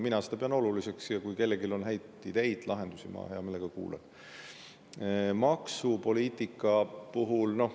Mina pean seda oluliseks ja kui kellelgi on häid ideid ja lahendusi, ma hea meelega kuulan.